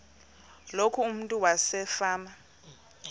loku umntu wasefama